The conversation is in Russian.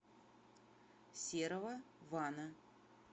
серого вана